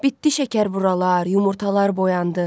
Bitdi şəkərburalar, yumurtalar boyandı.